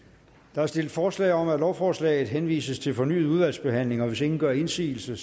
der er stillet forslag om at lovforslaget henvises til fornyet udvalgsbehandling hvis ingen gør indsigelse